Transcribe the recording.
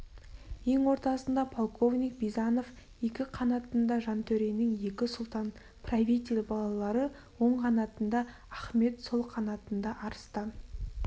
ең ортасында полковник бизанов екі қанатында жантөренің екі сұлтан-правитель балалары оң қанатында ахмет сол қанатында арыстан